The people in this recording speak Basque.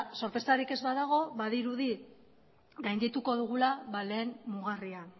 sorpresarik ez badago badirudi gaindituko dugula lehen mugarria